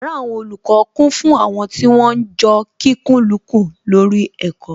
Yàrá àwọn olùkọ́ kún fún àwọn tí wọ́n ń jọ kikùnlukùn lórí ẹ̀kọ́